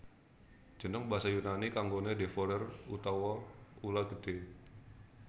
Jeneng basa Yunani kanggoné devourer utawa ula gedhé